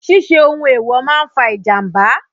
Ṣíṣe ohun èèwò máa fa ìjàmbá.